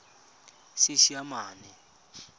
seesimane